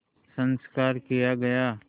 संस्कार किया गया